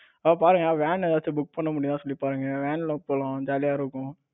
அத பாருங்க van ஏதாசும் book பண்ண முடியுதான்னு சொல்லி பாருங்க van ல போலாம் ஜாலியா இருக்கும்.